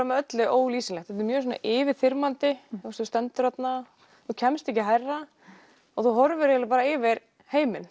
með öllu ólýsanlegt þetta er mjög yfirþyrmandi þú stendur þarna og kemst ekki hærra þú horfir eiginlega yfir heiminn